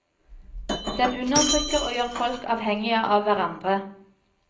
Den undertrykker og gjør folk avhengige av hverandre.